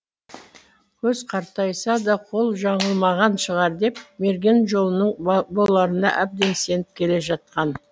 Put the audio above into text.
көз қартайса да қол жаңылмаған шығар деп мерген жолының боларына әбден сеніп келе жатқан